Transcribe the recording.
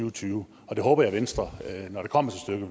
og tyve og det håber jeg at venstre når det kommer